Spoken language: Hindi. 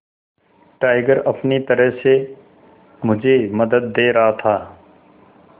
टाइगर अपनी तरह से मुझे मदद दे रहा था